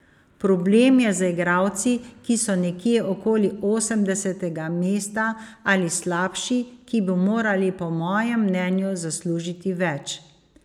Problem je z igralci, ki so nekje okoli osemdesetega mesta ali slabši, ki bi morali po mojem mnenju zaslužiti več.